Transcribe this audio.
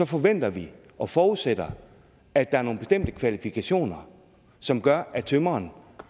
forventer vi og forudsætter at der er nogle bestemte kvalifikationer som gør at tømreren